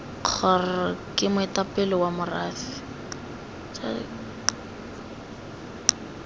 kgr ke moetapele wa morafe